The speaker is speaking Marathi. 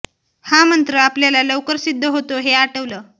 हा मंत्र आपल्याला लवकर सिद्ध होतो हे आठवलं